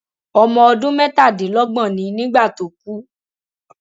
ọmọ ọdún mẹtàdínlọgbọn ni nígbà tó kú